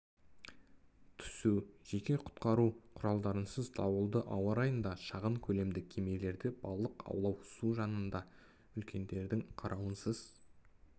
түсу жеке құтқару кұралдарынсыз дауылды ауа-райында шағын көлемді кемелерде балық аулау су жанында үлкендердің қарауынсыз